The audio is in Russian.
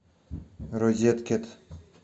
розеткед